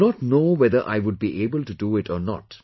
I do not know whether I would be able to do it or not